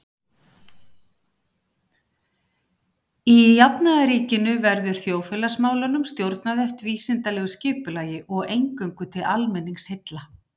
Í jafnaðarríkinu verður þjóðfélagsmálunum stjórnað eftir vísindalegu skipulagi og eingöngu til almenningsheilla.